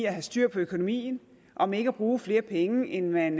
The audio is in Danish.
at have styr på økonomien om ikke at bruge flere penge end man